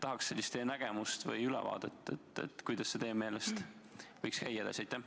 Tahaks teada saada teie nägemust, kuidas see teie meelest võiks edaspidi käia.